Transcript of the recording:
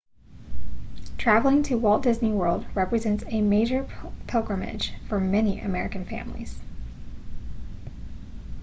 traveling to walt disney world represents a major pilgrimage for many american families